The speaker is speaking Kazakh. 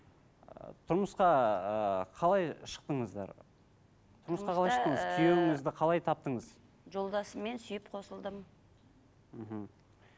ы тұрмысқа ыыы қалай шықтыңыздар тұрмысқа қалай шықтыңыз күйеуіңізді қалай таптыңыз жолдасыммен сүйіп қосылдым